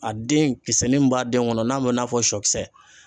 A den kisɛ nin min b'a den kɔnɔ n'a bɛ i n'a. fɔ sɔ kisɛ